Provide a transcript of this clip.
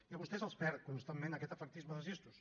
i a vostès els perd constantment aquest efectisme dels gestos